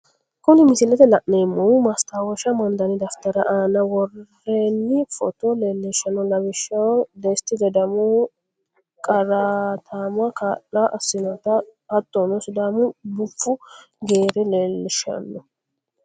Kuni misilete la'neemohu maasitawosha amandanni dafitari aanna woronni footta leelishanno lawishaho desiti ledamohu qaraatamaho kaa'lo asinotta hatonno sidaamu bufu geera leelishano